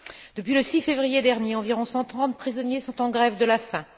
Depuis le 6 février dernier, environ 130 prisonniers sont en grève de la faim.